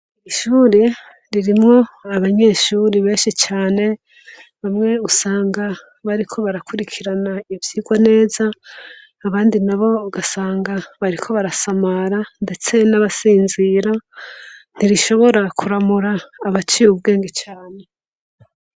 Irishuri ririmwo abanyeshuri benshi cane bamwe usanga bariko barakurikirana ibovyirwa neza abandi na bo ugasanga bariko barasamara, ndetse n'abasinzira ntirishobora kuramura abaciye ubwenge cane.